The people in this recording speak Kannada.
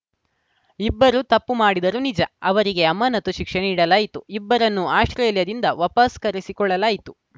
ಇಬ್ಬರು ತಪ್ಪು ಮಾಡಿದರು ನಿಜ ಅವರಿಗೆ ಅಮಾನತು ಶಿಕ್ಷೆ ನೀಡಲಾಯಿತು ಇಬ್ಬರನ್ನೂ ಆಸ್ಪ್ರೇಲಿಯಾದಿಂದ ವಾಪಸ್‌ ಕರೆಸಿಕೊಳ್ಳಲಾಯಿತು